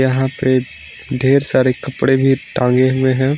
यहां पर ढेर सारे कपड़े भी टांगे हुए है।